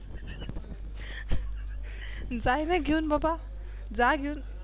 जायना घेऊन बाबा जा घेऊन